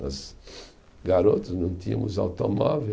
Nós, garotos, não tínhamos automóvel.